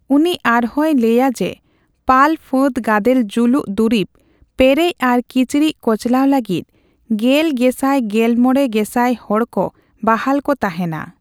ᱩᱱᱤ ᱟᱨᱦᱚᱸᱭ ᱞᱟᱹᱭᱟ ᱡᱮᱹ ᱯᱟᱞ ᱯᱷᱟᱹᱫᱽ ᱜᱟᱫᱮᱞ ᱡᱩᱞᱩᱜ ᱫᱩᱨᱤᱵᱽ ᱯᱮᱨᱮᱡ ᱟᱨ ᱠᱤᱪᱨᱤᱡ ᱠᱚᱪᱞᱟᱣ ᱞᱟᱹᱜᱤᱫ ᱜᱮᱞ ᱜᱮᱥᱟᱭᱼᱜᱮᱞᱢᱚᱲᱮ ᱜᱮᱥᱟᱭ ᱦᱚᱲᱠᱚ ᱵᱟᱦᱟᱞ ᱠᱚ ᱛᱟᱦᱮᱱᱟ ᱾